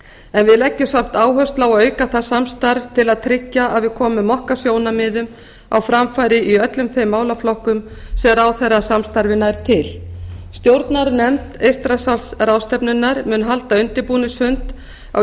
en við leggjum samt áherslu á að auka það samstarf til að tryggja að við komum okkar sjónarmiðum á framfæri í öllum þeim málaflokkum sem ráðherrasamstarfið nær til stjórnarnefnd eystrasaltsráðstefnunnar mun halda undirbúningsfund á